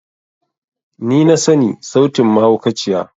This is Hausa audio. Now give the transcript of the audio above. Ni na sani sautin mahaukaciya.